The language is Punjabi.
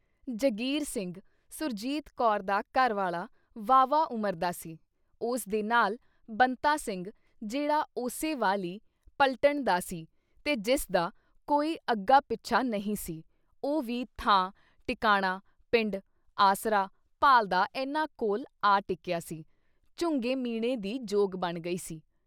ਜਗੀਰ ਸਿੰਘ ਸੁਰਜੀਤ ਕੌਰ ਦਾ ਘਰਵਾਲਾ ਵਾਹਵਾ ਉਮਰ ਦਾ ਸੀ ਉਸ ਦੇ ਨਾਲ ਬੰਤਾ ਸਿੰਘ ਜਿਹੜਾ ਉਸੇ ਵਾਲੀ ਪਲਟਣ ਦਾ ਸੀ ਤੇ ਜਿਸਦਾ ਕੋਈ ਅੱਗਾ ਪਿੱਛਾ ਨਹੀਂ ਸੀ ਉਹ ਵੀ ਥਾਂ, ਟਿਕਾਣਾ, ਪਿੰਡ, ਆਸਰਾ ਭਾਲ਼ਦਾ ਇਨ੍ਹਾਂ ਕੋਲ ਆ ਟਿਕਿਆ ਸੀ ਝੁੰਘੇ-ਮੀਣੇ ਦੀ ਜੋਗ ਬਣ ਗਈ ਸੀ।